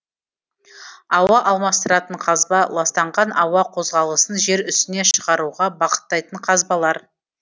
ауа алмастыратын қазба ластанған ауа қозғалысын жер үстіне шығаруға бағыттайтын қазбалар